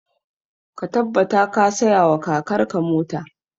Ka tabbata ka saya wa kakar ka mota!